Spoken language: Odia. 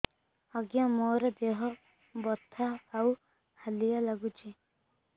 ଆଜ୍ଞା ମୋର ଦେହ ବଥା ଆଉ ହାଲିଆ ଲାଗୁଚି